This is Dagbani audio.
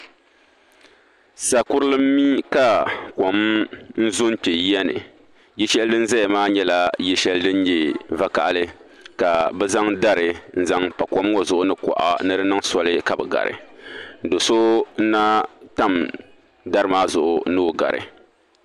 Saa kurili nmi ka kom zo nkpɛ yiya ni yili shɛli dini zɛya maa nyɛla yili shɛli dini nyɛ vakahali ka bi zaŋ dari nzaŋ pa kom ŋɔ zuɣu ni kuɣa ni do niŋ soli ka bi gari do so nna tami dari maa zuɣu ni o gari.